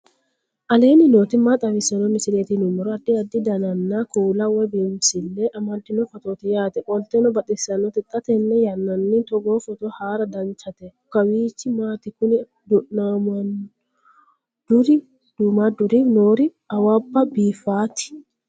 aleenni nooti maa xawisanno misileeti yinummoro addi addi dananna kuula woy biinsille amaddino footooti yaate qoltenno baxissannote xa tenne yannanni togoo footo haara danchate kawiichi maati kuni duummaadduri noori awabba biiffaati